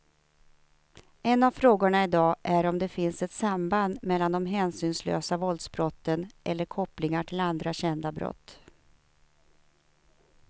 En av frågorna i dag är om det finns ett samband mellan de hänsynslösa våldsbrotten eller kopplingar till andra kända brott.